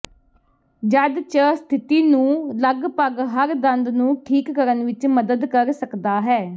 ਜਦ ਚ ਸਥਿਤੀ ਨੂੰ ਲਗਭਗ ਹਰ ਦੰਦ ਨੂੰ ਠੀਕ ਕਰਨ ਵਿੱਚ ਮਦਦ ਕਰ ਸਕਦਾ ਹੈ